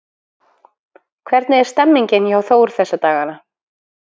Hvernig er stemningin hjá Þór þessa dagana?